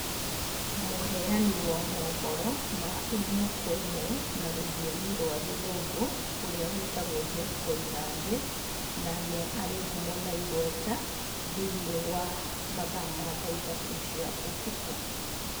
Mũheyani wo mohoro ma ĩmwe kwa ĩmwe, na rũthiomi rwa gĩthũngũ, ũrĩa wĩtagwo Jeff Koinange. Na ni arĩ ngumo na igweta thĩiniĩ wa mathaa ma thaa ithatũ cia ũtukũ.